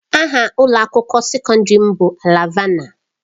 Aha ụlọ akwụkwọ sekọndrị m bụ Alvana.